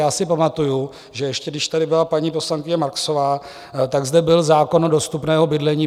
Já si pamatuji, že ještě když tady byla paní poslankyně Marksová, tak zde byl zákon o dostupném bydlení.